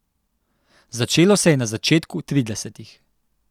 Začelo se je na začetku tridesetih.